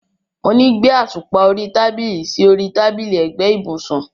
Mo ní gbé àtùpà orí tábìlì sí orí tábìlì ẹ̀gbẹ́ ibùsùn.